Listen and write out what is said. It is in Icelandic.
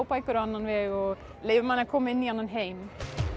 bækur á annan veg og leyfa manni að koma inn í annan heim